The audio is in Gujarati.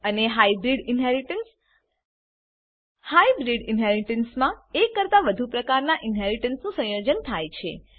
અને હાયબ્રીડ ઇનહેરીટન્સ હાયબ્રીડ ઇનહેરીટન્સમાં એક કરતા વધુ પ્રકારનાં ઇનહેરીટન્સનું સંયોજન થાય છે